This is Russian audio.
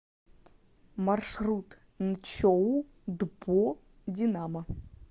маршрут нчоу дпо динамо